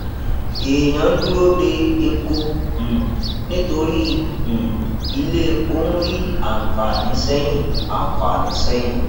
èèyàn dúró de epo um nítorí um ilé epo ń rí àǹfààní sẹyìn àǹfààní sẹyìn